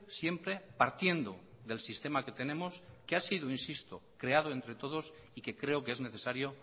siempre partiendo del sistema que tenemos que ha sido insisto creado entre todos y que creo que es necesario